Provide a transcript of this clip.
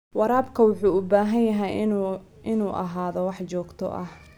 Waraabka wuxuu u baahan yahay inuu ahaado mid joogto ah.